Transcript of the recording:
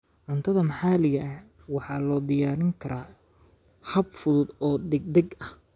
Cuntada maxaliga ah waxaa loo diyaarin karaa hab fudud oo degdeg ah.